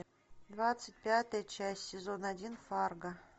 двадцать пятая часть сезон один фарго